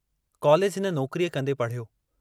College हिन नौकरीअ कन्दे पड़िहयो।